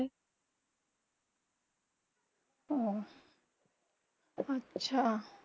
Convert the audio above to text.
অহঃ আচ্ছা